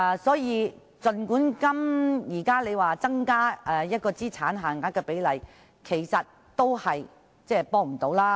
所以，儘管現在政府提出增加資產限額的建議，其實也是沒有幫助的。